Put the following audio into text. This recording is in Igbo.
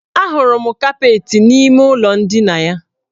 Ahụrụ m kapeetị n' ime ụlọ ndina ya.